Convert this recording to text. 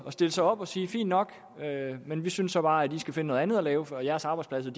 at stille sig op og sige fint nok men vi synes så bare at i skal finde noget andet at lave for jeres arbejdspladser